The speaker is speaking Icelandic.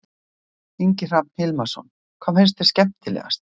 Ingi Hrafn Hilmarsson: Hvað fannst þér skemmtilegast?